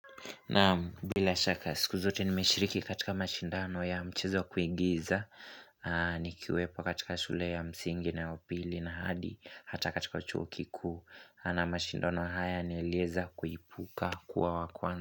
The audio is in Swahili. Naam bila shaka siku zote nimeshiriki katika mashindano ya mchezo ya kuingiza Nikiwepo katika shule ya msingi naya upili na hadi Hata katika uchuo kikuu na mashindano haya nilieza kuipuka kuwa wa kwanza.